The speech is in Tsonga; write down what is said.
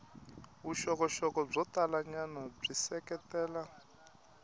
vuxokoxoko byo talanyana byi seketela